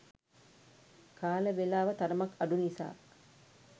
කාල වෙලාව තරමක් අඩු නිසා